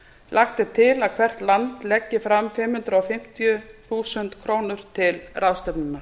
lagt er til að hvert land leggi fram fimm hundruð fimmtíu þúsund krónur til ráðstefnunnar